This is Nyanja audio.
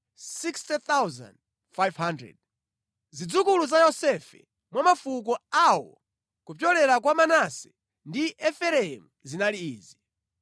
Zidzukulu za Yosefe mwa mafuko awo kupyolera mwa Manase ndi Efereimu zinali izi: